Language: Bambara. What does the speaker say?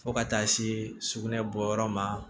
Fo ka taa se sugunɛ bɔyɔrɔ ma